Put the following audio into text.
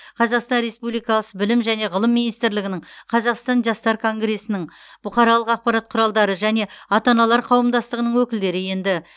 қазақстан республикасы білім және ғылым министрлігінің қазақстан жастар конгресінің бұқаралық ақпарат құралдары және ата аналар қауымдастығының өкілдері енді